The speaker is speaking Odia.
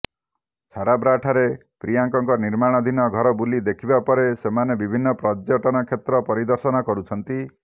ଛାରାବ୍ରାଠାରେ ପ୍ରିୟଙ୍କାଙ୍କ ନିର୍ମାଣାଧୀନ ଘର ବୁଲି ଦେଖିବା ପରେ ସେମାନେ ବିଭିନ୍ନ ପର୍ଯ୍ୟଟନ କ୍ଷେତ୍ର ପରିଦର୍ଶନ କରୁଛନ୍ତି